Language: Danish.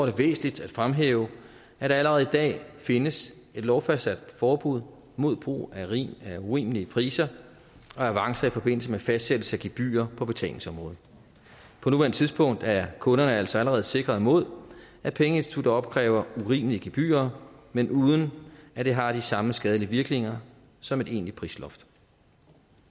det væsentligt at fremhæve at der allerede i dag findes et lovfastsat forbud mod brug af urimelige priser og avancer i forbindelse med fastsættelse af gebyrer på betalingsområdet på nuværende tidspunkt er kunderne altså allerede sikret mod at pengeinstitutter opkræver urimelige gebyrer men uden at det har de samme skadelige virkninger som et egentligt prisloft